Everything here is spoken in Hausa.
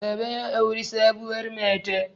baba ya auri sabuwar mata